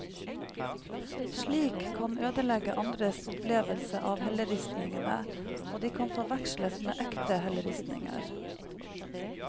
Slikt kan ødelegge andres opplevelse av helleristningene, og de kan forveksles med ekte helleristninger.